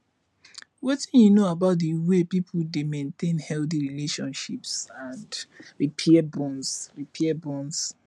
wetin you know about di way people dey maintain healthy relationships and repair bonds repair bonds